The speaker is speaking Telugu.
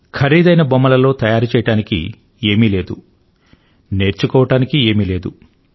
ఖరీదైన బొమ్మలలో తయారు చేయడానికి ఏమీ లేదు నేర్చుకోవడానికి ఏమీ లేదు